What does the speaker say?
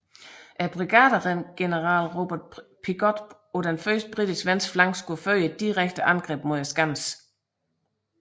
Brigadegeneral Robert Pigot på den britiske venstre flanke skulle føre et direkte angreb mod skansen